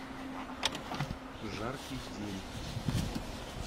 жаркий день